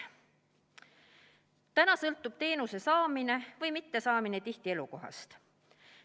Praegu sõltub teenuse saamine või mittesaamine tihti elukohast.